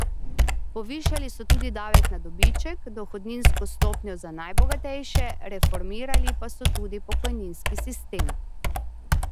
Povišali so tudi davek na dobiček, dohodninsko stopnjo za najbogatejše, reformirali pa so tudi pokojninski sistem.